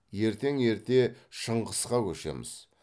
ертең ерте шыңғысқа көшеміз